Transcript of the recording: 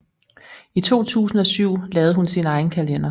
I 2007 lavede hun sin egen kalender